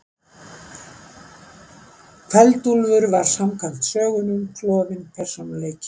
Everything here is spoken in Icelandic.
Kveld-Úlfur var samkvæmt sögunum klofinn persónuleiki.